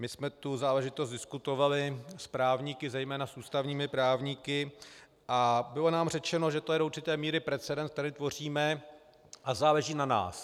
My jsme tu záležitost diskutovali s právníky, zejména s ústavními právníky, a bylo nám řečeno, že to je do určité míry precedens, který tvoříme, a záleží na nás.